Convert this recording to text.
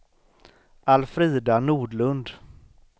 Alfrida Nordlund